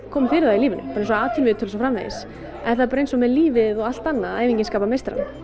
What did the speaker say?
komið fyrir það í lífinu bara eins og atvinnuviðtöl og svo framvegis það er bara eins með lífið og allt annað að æfingin skapar meistarann